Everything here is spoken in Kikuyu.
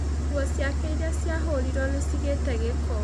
Nguo ciake irĩa ciahorirwo nĩ cigĩte gĩko.